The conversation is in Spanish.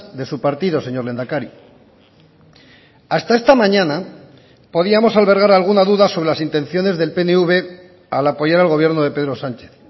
de su partido señor lehendakari hasta esta mañana podíamos albergar alguna duda sobre las intenciones del pnv al apoyar al gobierno de pedro sánchez